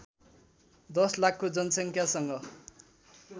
१० लाखको जनसङ्ख्यासँग